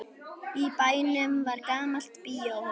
Í bænum var gamalt bíóhús.